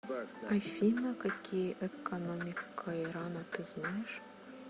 афина какие экономика ирана ты знаешь